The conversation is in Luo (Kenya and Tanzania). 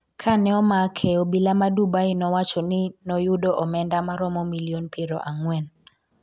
kane omake obila ma Dubai nowacho ni noyudo omenda maromo milion piero ang'wen